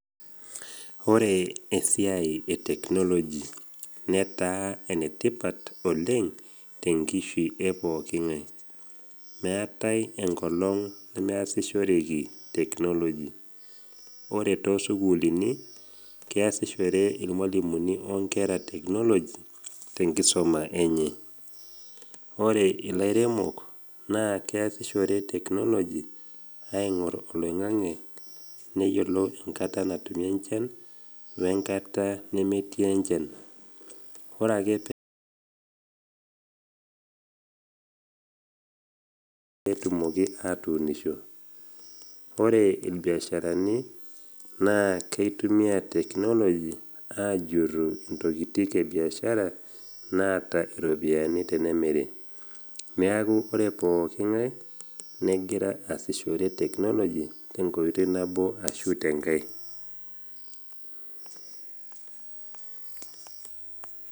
Ore esiai e teknoloji netaa enetipat oleng tenkishu e pooki ng’ai. Meatai engolong nemekiasishore teknoloji. Ore too sukuulini, keasishore ilmwalimuni o nkera teknoloji tenkisoma enye. Ore ilairemok, naa keasishore teknoloji aing’or oloing’ang’e neyolou enkata natumi enchan we nkata nemetii enchan. Ore ake peaku ketaana enchan, nereten ninche imukundani enye peetumoki atuunisho. Ore ilbiasharani, naa keitumia teknoloji ajurru intokitin ebiashara naata iropiani tenemiri. Neaku ore pooki ng’ai, negira aasishore teknoloji tenkoitoi nabo ashu tenkai.